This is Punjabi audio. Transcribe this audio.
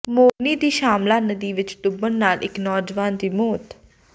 ਮੋਰਨੀ ਦੀ ਛਾਮਲਾ ਨਦੀ ਵਿੱਚ ਡੁੱਬਣ ਨਾਲ਼ ਇਕ ਨੌਜਵਾਨ ਦੀ ਮੌਤ